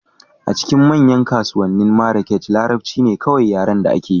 A cikin manyan kasuwannin Marrakech, Larabci ne kawai yaren da akeyi